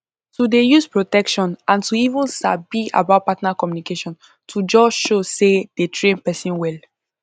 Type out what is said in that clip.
to dey use protection and to even sabi about partner communication to just show say dey train person well